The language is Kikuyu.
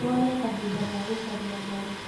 Wone kahinda ga gũcaria Ngai